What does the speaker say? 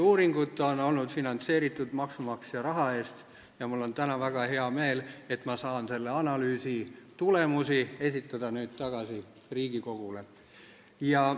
Uuringud on olnud finantseeritud maksumaksja raha eest ja mul on täna väga hea meel, et ma saan nüüd esitada analüüsi tulemusi tagasi Riigikogule.